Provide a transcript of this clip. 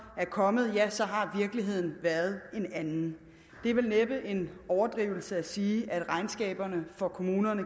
kommet ja så har virkeligheden været en anden det er vel næppe en overdrivelse at sige at regnskaberne for kommunerne